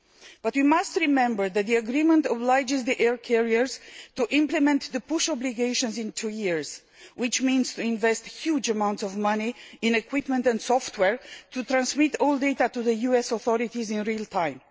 But you must remember that the agreement obliges the air carriers to implement the push' obligations in two years, which means investing a huge amount of money in equipment and software to transmit all data to the US authorities in real time.